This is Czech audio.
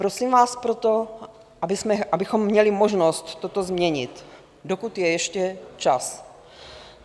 Prosím vás proto, abychom měli možnost toto změnit, dokud je ještě čas.